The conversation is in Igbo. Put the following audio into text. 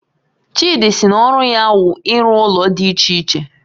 Chidi sị na ọru ya wu ịru ụlọ dị iche iche